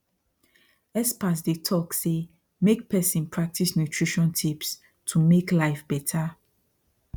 experts dey talk say make person practice nutrition tips to make life better